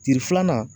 Ci filanan